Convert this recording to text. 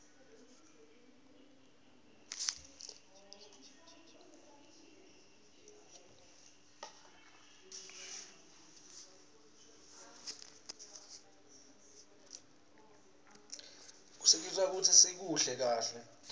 kusisita kutsi sikuhle kahle